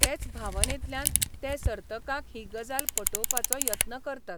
तेच भावनेंतल्यान ते सर्तकांक ही गजाल पटोवपाचो यत्न करतात.